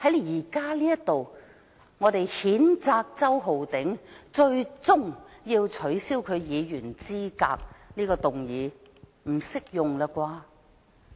現在我們要譴責周浩鼎議員，最終要取消他的議員資格，這個理由不適用了吧？